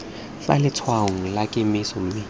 fa letshwaong la kemiso mme